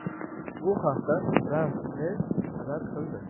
Bu haqda France-Presse xabar qildi .